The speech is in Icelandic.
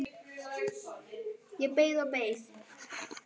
Farðu ekki núna!